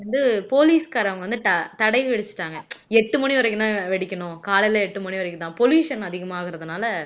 வந்து போலீஸ்காரங்க வந்து தட விதிச்சுட்டாங்க எட்டு மணி வரைக்கும்தான் வெடிக்கணும் காலையில எட்டு மணி வரைக்கும்தான் pollution அதிகமாகறதுனால